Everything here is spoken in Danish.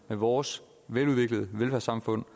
vores veludviklede velfærdssamfund